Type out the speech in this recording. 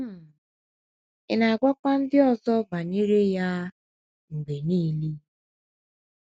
um Ị̀ na - agwakwa ndị ọzọ banyere um ya um mgbe nile?